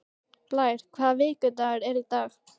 Blær, hvaða vikudagur er í dag?